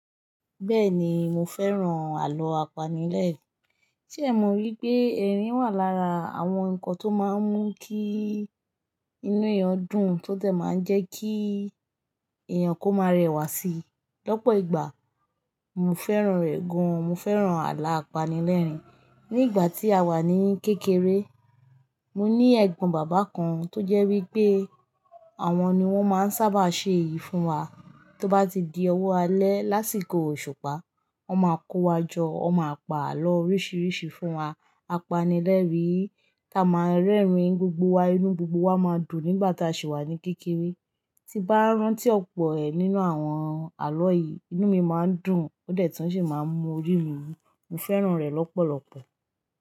Bẹ́ẹ̀ni, mo fẹ́ràn àlọ́ apanilẹ́ẹ̀rìn. Ṣé è mo wípé, ẹ̀rín wà lára àwọn ǹkan tó máa ń mú kí inú ẹ̀yàn dùn, tó tẹ̀ máa ń jẹ́ kí ẹ̀yàn kó máa rẹwà síi lọ́pọ̀ ìgbà. Mo fẹ́ràn rẹ̀ gan. Mo fẹ́ràn àlọ́ apanilẹ́ẹ̀rìn. Ní ìgbà tí a wà ní kékeré, mo ní ẹ̀gbọ́n bàbá kan tó jẹ́ wípé àwọn ni wón máa ń sábà ṣe èyí fún wa. Tó bá ti di ọwọ́ alẹ́ lásìkò òṣùpá, wón máa kó wa jọ, wón máa pa àlọ́ oríṣiríṣi fún wa. Apanilẹ́ẹ̀rìn kí a máa rẹ́rìn-ín, gbogbo wa, inú gbogbo wa máa dùn nígbà tá a sì wà ní kékeré. Tí bá rántí ọ̀pọ̀ ẹ̀ nínú àwọn àlọ́ yìí, inú mi má ń dùn, ó dẹ̀ tun sì máa ń mú ori mi wú. Mo fẹ́ràn rẹ̀ lọ́pọ̀lọ́pọ̀.